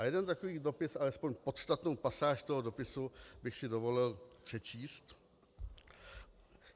A jeden takový dopis, alespoň podstatnou pasáž toho dopisu, bych si dovolil přečíst.